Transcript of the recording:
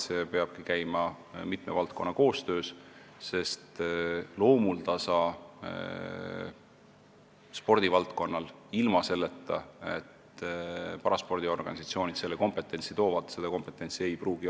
See peabki käima mitme valdkonna koostöös, sest loomuldasa ei pruugi spordivaldkonnal seda kompetentsi olla, kuid paraspordiorganisatsioonid saavad seda kompetentsi tuua.